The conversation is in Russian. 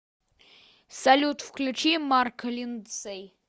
салют включи марк линдсэй